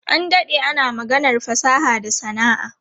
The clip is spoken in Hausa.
An dade ana maganar fasaha da sana'a.